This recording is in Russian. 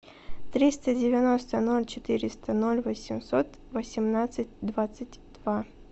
триста девяносто ноль четыреста ноль восемьсот восемнадцать двадцать два